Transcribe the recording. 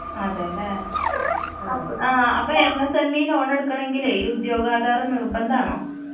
അതെല്ലേ? ആഹ് അപ്പോ M S എമ്മീ loan എടുക്കണമെങ്കിലെയ് ഈ ഉദ്യോഗാധാറ് നിർബന്ധാണോ?